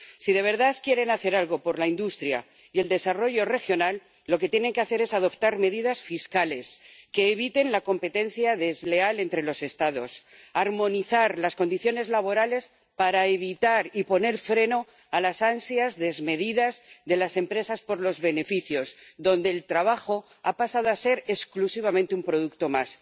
Si de verdad quieren hacer algo por la industria y el desarrollo regional, lo que tienen que hacer es adoptar medidas fiscales que eviten la competencia desleal entre los Estados, armonizar las condiciones laborales para evitar y poner freno a las ansias desmedidas de las empresas por los beneficios, donde el trabajo ha pasado a ser exclusivamente un producto más.